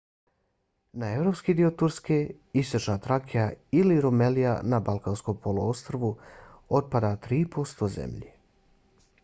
na evropski dio turske istočna trakija ili rumelija na balkanskom poluostrvu otpada 3% zemlje